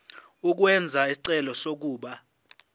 ukwenza isicelo sokuba